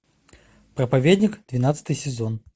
проповедник двенадцатый сезон